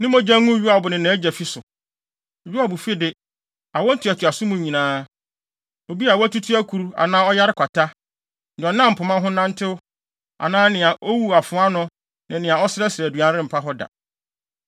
Ne mogya ngu Yoab ne nʼagya fi so! Yoab fi de, awo ntoatoaso mu nyinaa, obi a watutu akuru anaa ɔyare kwata, nea ɔnam pema ho nantew anaa nea owu afoa ano ne nea ɔsrɛsrɛ aduan rempa hɔ da.”